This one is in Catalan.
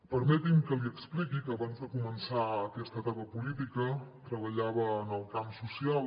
permeti’m que li expliqui que abans de començar aquesta etapa política treballava en el camp social